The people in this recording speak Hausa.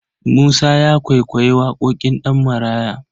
Musa ya kwaikwayi waƙoƙin Ɗanmaraya.